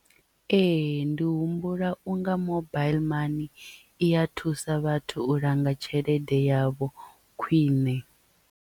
Ee ndi humbula unga mobaiḽi mani i ya thusa vhathu u langa tshelede yavho khwiṋe.